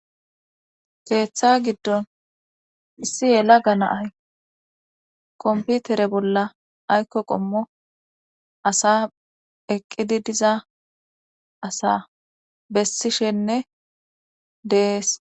Heeththa giddon issi yela ganaay komputere bolla aykko qommo asa eqqidi diza asa bessishenne dees